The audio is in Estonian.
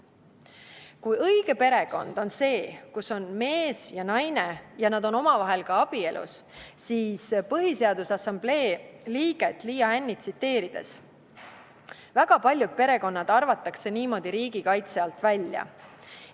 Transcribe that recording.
Kui õige perekond on see, kus on mees ja naine ja nad on omavahel abielus, siis tsiteerin Põhiseaduse Assamblee liiget Liia Hännit: "Väga paljud perekonnad arvatakse niimoodi riigi kaitse alt välja.